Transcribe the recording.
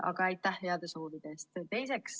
Aga aitäh heade soovide eest!